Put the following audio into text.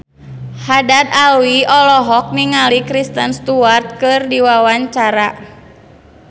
Haddad Alwi olohok ningali Kristen Stewart keur diwawancara